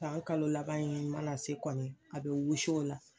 San kalo laban in mana se kɔni a be wusu o la